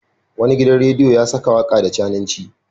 Wani gidan rediyo ya saka waka da cananci.